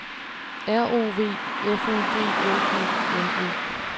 R O V F U G L E N E